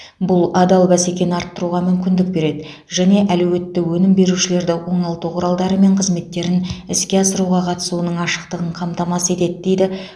бұл адал бәсекені арттыруға мүмкіндік береді және әлеуетті өнім берушілерді оңалту құралдары мен қызметтерін іске асыруға қатысуының ашықтығын қамтамасыз етеді дейді